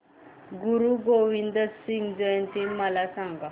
गुरु गोविंद सिंग जयंती मला सांगा